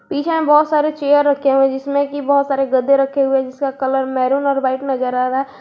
पीछे में बहुत सारे चेयर रखे हुए हैं जिस्म की बहुत सारे गड्ढे रखे हुए हैं जिसका कलर मैरून और व्हाइट नजर आ रहा है।